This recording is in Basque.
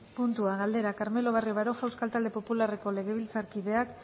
puntua galdera carmelo barrio baroja euskal talde popularreko legebiltzarkideak